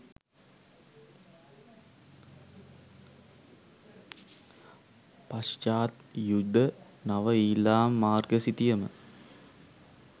පශ්චාත් යුද නව ඊළාම් මාර්ග සිතියම